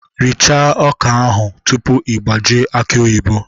Richaa ọka tupu ị gbajie aki oyibo!